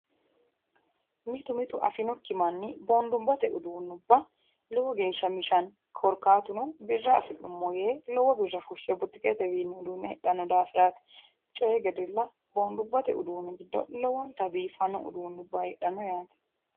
mitu mitu manni afinokkihu boondubbate uduunnubba lowo geeshsha mishanno korkaatuno birra afi'nummo yee lowo birra fushshe butuketewiinni hidhanno daafiraati coyi gedella boondubbate uduunni giddo lowontanni biiffanno uduunnuwa heedhanno yaate.